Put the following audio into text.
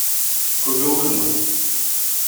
когалыма